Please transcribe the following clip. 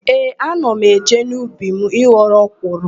Ee, ana m eje n'ubi m ịghọrọ ọkwụrụ.